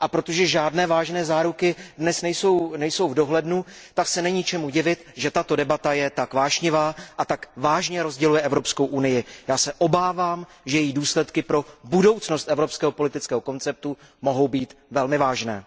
A protože žádné vážné záruky dnes nejsou v dohledu, tak se není čemu divit, že tato debata je tak vášnivá a tak vážně rozděluje Evropskou unii. Já se obávám, že její důsledky pro budoucnost evropského politického konceptu mohou být velmi vážné.